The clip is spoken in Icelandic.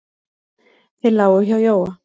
Þeir lágu hjá Jóa.